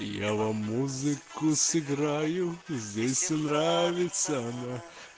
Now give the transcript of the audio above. я вам музыку сыграю здесь нравится